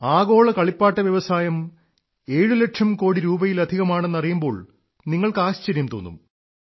ആഗോള കളിപ്പാട്ട വ്യവസായം 7ലക്ഷം കോടിരൂപയിലധികമാണെന്നറിയുമ്പോൾ നിങ്ങൾക്ക് ആശ്ചര്യം തോന്നും